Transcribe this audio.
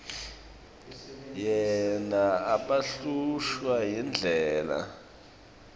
yena abehlushwa yindlebe